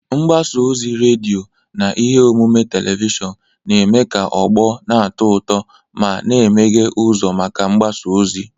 Mgbasa ozi redio na ihe omume telivishọn na-eme ka ọgbọ na-atọ ụtọ ma, na-emeghe ụzọ maka mgbasa ozi.